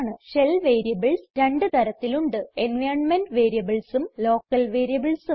shell variables രണ്ട് തരത്തിലുണ്ട് environment Variablesഉം ലോക്കൽ Variablesഉം